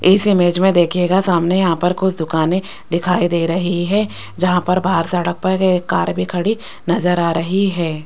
इस इमेज में देखिएगा सामने यहां पर कुछ दुकाने दिखाई दे रही है जहां पर बाहर सड़क पर एक कार भी खड़ी नजर आ रही है।